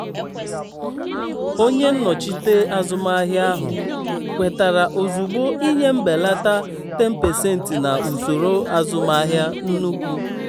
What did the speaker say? onye nnochite azụmahịa ahụ kwetara ozugbo ịnye mbelata 10% na usoro azụmaahịa nnukwu.